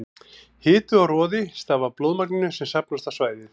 Hiti og roði stafa af blóðmagninu sem safnast á svæðið.